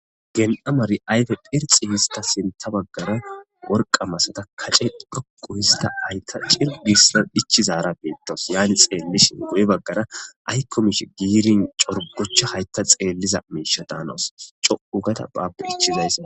Gen7amari ayfe phirxi hista sinta baggara worqa masata kace dhoqu hista hayta cirgissa dhichizara biittos yaani xeellishin guye baggara aykkomish giirin corgochcha haytta xeelliza miisha daanoos co7ugada baappe ichizaysa.